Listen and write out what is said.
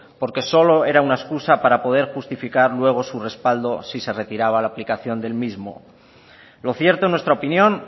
porque solo era una excusa para poder justificar su respaldo si se retiraba la aplicación del mismo lo cierto en nuestra opinión